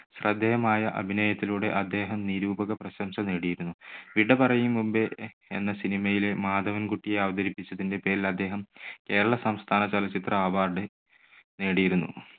ശ്രദ്ധേയമായ അഭിനയത്തിലൂടെ അദ്ദേഹം നിരൂപക പ്രശംസ നേടിയിരുന്നു. വിട പറയും മുൻപേ എ~എന്ന cinema യിലെ മാധവൻ കുട്ടിയെ അവതരിപ്പിച്ചതിന്റെ പേരിൽ അദ്ദേഹം കേരള സംസ്ഥാന ചലച്ചിത്ര award നേടിയിരുന്നു.